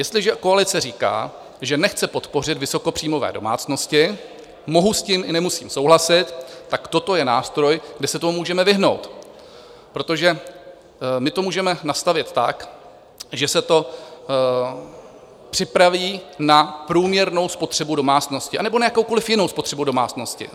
Jestliže koalice říká, že nechce podpořit vysokopříjmové domácnosti, mohu s tím i nemusím souhlasit, tak toto je nástroj, kde se tomu můžeme vyhnout, protože my to můžeme nastavit tak, že se to připraví na průměrnou spotřebu domácnosti anebo na jakoukoliv jinou spotřebu domácnosti.